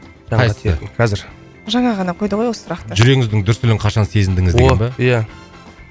қайсысы қазір жаңа ғана қойды ғой осы сұрақты жүрегіңіздің дүрсілін қашан сезіндіңіз деген ба о ия